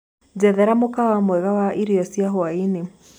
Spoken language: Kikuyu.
njethera mũkawa mwega wa ĩrĩo cĩa hwaĩnĩ